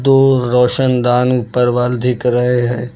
दो रोशनदान ऊपर वल दिख रहे हैं।